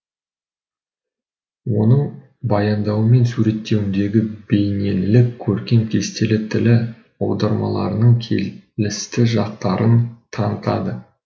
оның баяндауы мен суреттеуіндегі бейнелілік көркем кестелі тілі аудармаларының келісті жақтарын танытады